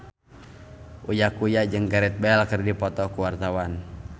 Uya Kuya jeung Gareth Bale keur dipoto ku wartawan